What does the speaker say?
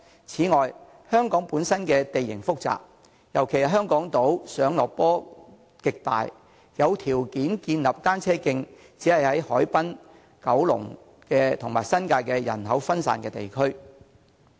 此外，香港本身地形複雜，特別是港島，上落斜坡的斜度極大，有條件建立單車徑的只是海濱，以及九龍和新界人口分散的地區。